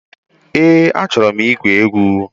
Eé, a chọrọ igwu egwu.